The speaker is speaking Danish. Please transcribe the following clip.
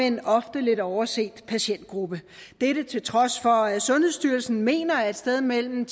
en ofte lidt overset patientgruppe til trods for at sundhedsstyrelsen mener at et sted mellem